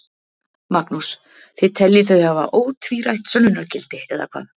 Magnús: Þið teljið þau hafa ótvírætt sönnunargildi, eða hvað?